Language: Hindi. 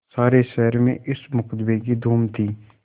सारे शहर में इस मुकदमें की धूम थी